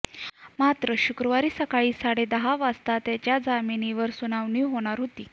मात्र शुक्रवारी सकाळी साडेदहा वाजता त्याच्या जामिनावर सुनावणी होणार आहे